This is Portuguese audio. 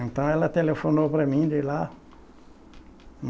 Então ela telefonou para mim de lá.